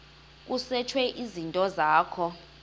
kusetshwe izinto zakho